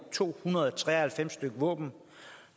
to hundrede og tre og halvfems stykke våben